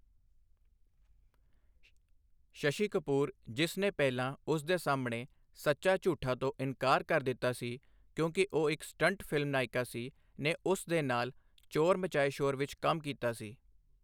ਸ਼ਸ਼ੀ ਕਪੂਰ, ਜਿਸ ਨੇ ਪਹਿਲਾਂ ਉਸ ਦੇ ਸਾਹਮਣੇ ਸੱਚਾ ਝੂਠਾ ਤੋਂ ਇਨਕਾਰ ਕਰ ਦਿੱਤਾ ਸੀ ਕਿਉਂਕਿ ਉਹ ਇੱਕ ਸਟੰਟ ਫਿਲਮ ਨਾਇਕਾ ਸੀ, ਨੇ ਉਸ ਦੇ ਨਾਲ 'ਚੋਰ ਮਚਾਏ ਸ਼ੋਰ' ਵਿੱਚ ਕੰਮ ਕੀਤਾ ਸੀ।